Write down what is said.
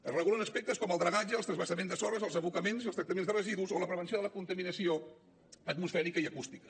es regulen aspectes com el dragatge el transvasament de sorres els abocaments i els tractaments de residus o la prevenció de la contaminació atmosfèrica i acústica